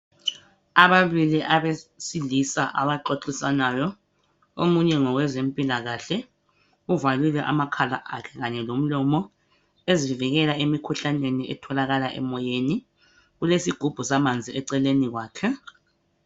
Ababili abesilisa abaxoxisanayo omunye ngowezempilakahle uvalile amakhala akhe kanye lomlomo ezivikela emikhuhlaneni etholakala emoyeni kulesigubhu samanzi eceleni kwakhe.